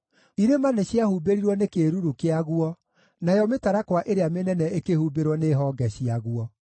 Irĩma nĩciahumbĩrirwo nĩ kĩĩruru kĩaguo, nayo mĩtarakwa ĩrĩa mĩnene ĩkĩhumbĩrwo nĩ honge ciaguo.